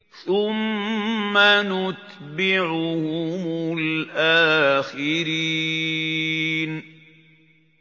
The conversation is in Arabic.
ثُمَّ نُتْبِعُهُمُ الْآخِرِينَ